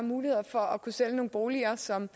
muligheder for at sælge nogle boliger som